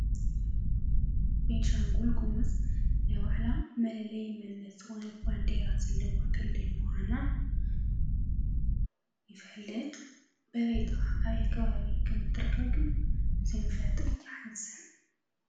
ቦኒሻንጉሉ ጉሙዝ ናይ ባዕላ መለለይ መኒነት ዝኮነ ባንዴራ ዘለዋ ክልል ምካና ይፈልጥ ፡፡በበይ ጥቃ ኣበይ ከባቢ ከም ትርከብግኒ ዘይምፍላጠይ ይሃዚኒ፡፡